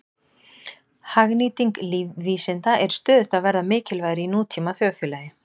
Hagnýting lífvísinda er stöðugt að verða mikilvægari í nútíma þjóðfélagi.